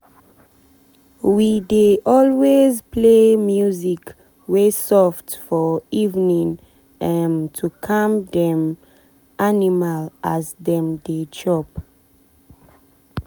we dey always play music wey soft for evening um to calm dem animal as dem dey chop.